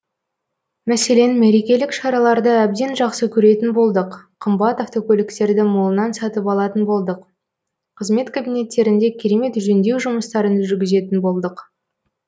мәселен мерекелік шараларды әбден жақсы көретін болдық қымбат автокөліктерді молынан сатып алатын болдық қызмет кабинеттерінде керемет жөндеу жұмыстарын жүргізетін болдық